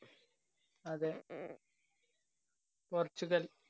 അതെ പോര്‍ച്ചുഗല്‍